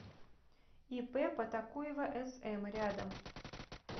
ип потакуева см рядом